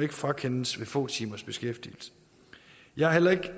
ikke frakendes ved få timers beskæftigelse jeg har heller ikke